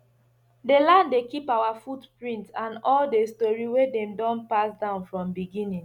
the land dey keep our footprint and all the story wey dem don pass down from beginning